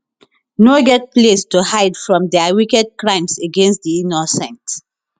no get place to hide from dia wicked crimes against di innocent